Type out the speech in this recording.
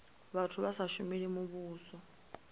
vhathu vha sa shumeli muvhuso